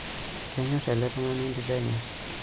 Kenyorr ele tungani entito enye.